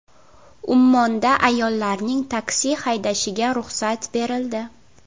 Ummonda ayollarning taksi haydashiga ruxsat berildi.